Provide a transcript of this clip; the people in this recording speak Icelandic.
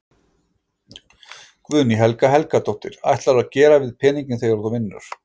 Guðný Helga Helgadóttir: Hvað ætlarðu að gera við peninginn þegar þú vinnur?